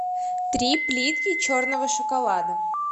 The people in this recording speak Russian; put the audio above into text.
три плитки черного шоколада